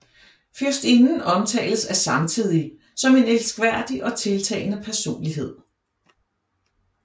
Fyrstinden omtales af samtidige som en elskværdig og tiltalende personlighed